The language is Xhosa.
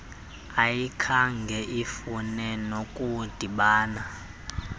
ayikhange ifune nokudibana